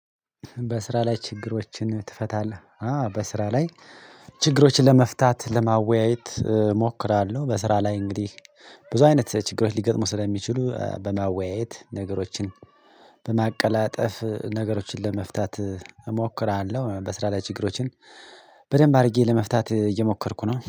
በስራ ላይ ችግሮችን ትፈታለህ? አዎ በስራ ላይ ችግሮችን ለመፍታት ለማወያየት እሞክራለሁ በስራ ላይ እንግዲህ ብዙ አይነት ችግሮች ሊገጥሙ ስለሚችሉ በማወያየት ነገሮችን በማቀላጠፍ ነገሮችን ለመፍታት እሞክራለሁ በስራ ላይ ችግሮችን በደንብ አድርጌ ለመፍታት እየሞከርኩ ነው